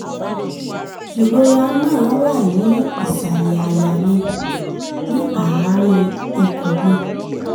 ìrora náà wà ní ìsàlẹ̀ àyà mi ní àárín ikùn mi